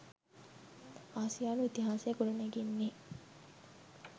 ආසියානු ඉතිහාසය ගොඩනැගෙන්නේ